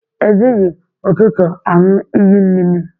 E jịghị ụtụtụ anu iyi mmịmị.